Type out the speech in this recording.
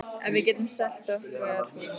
Ef við getum selt okkar hús á